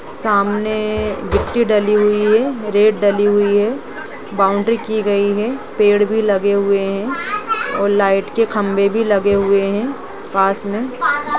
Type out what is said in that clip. सामने गिट्टी डली हुई है रेत डली हुई है बाउंड्री की गई है पेड़ भी लगे हुए है और लाइट के खंभे भी लगे हुए है पास मे--